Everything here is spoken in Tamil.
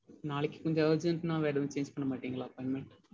நாளைக்கு கொஞ்சம் urgent னா வேற எதுவும் change பண்ண மாட்டீங்கனா appointment?